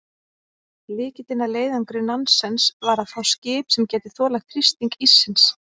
Lykillinn að leiðangri Nansens var að fá skip sem gæti þolað þrýsting íssins.